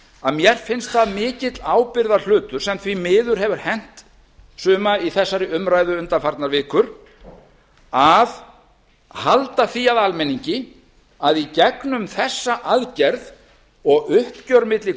að mér finnst það mikill ábyrgðarhlutur sem því miður hefur hent suma í þessari umræðu undanfarnar vikur að halda því að almenningi að í gegnum þessa aðgerð og uppgjör bil